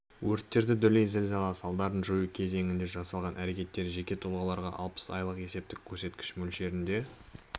өрттерді дүлей зілзала салдарын жою кезеңінде жасалған әрекеттер жеке тұлғаларға алпыс айлық есептік көрсеткіш мөлшерінде